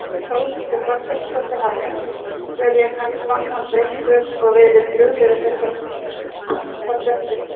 Þórhildur Þorkelsdóttir: Hafa einhverjir haft samband við ykkur og verið brugðið við þessar fréttir?